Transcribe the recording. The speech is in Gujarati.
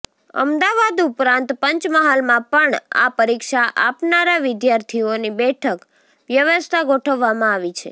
અમદાવાદ ઉપરાંત પંચમહાલમાં પણ આ પરીક્ષા આપનારા વિદ્યાર્થીઓની બેઠક વ્યવસ્થા ગોઠવવામાં આવી છે